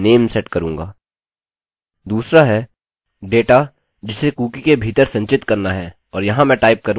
दूसरा है डेटा जिसे कुकी के भीतर संचित करना है और यहाँ मैं टाइप करूँगा alex